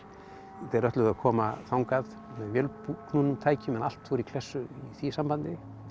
þeir ætluðu að koma þangað vélknúnum tækjum en allt fór í klessu í því sambandi